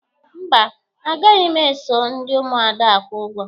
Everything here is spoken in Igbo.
Mba, a naghị m eso ndị Ụmụada akwụ ụgwọ.